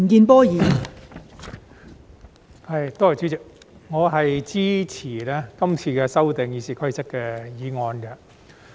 代理主席，我支持今次修訂《議事規則》的議案。